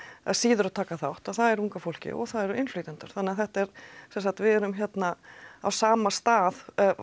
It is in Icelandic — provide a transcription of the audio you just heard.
síður að taka þátt og það er unga fólkið og það eru innflytjendur þannig að þetta er sem sagt við erum hérna á sama stað